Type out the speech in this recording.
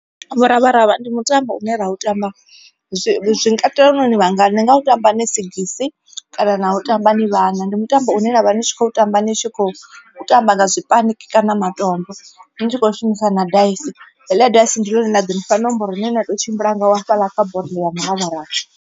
Muravharavha ndi mutambo une ra u tamba zwi katela nori ni vhangana ni nga u tamba ni sigisi kana na u tamba ni vhaṋa. Ndi mutambo une navha ni tshi khou tamba ni tshi khou tamba nga zwipaniki kana matombo ni tshi kho shumisa na daisi heiḽa daisi ndi ḽone ḽone ḓo ni fha nomboro ine na to tshimbila ngayo hafhaḽa kha bodo ya muravharavha.